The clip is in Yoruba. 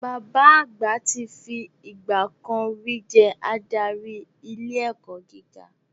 Bàbá àgbà ti fi ìgbà kan ri jẹ́ adarí ilé ẹ̀kọ́ gíga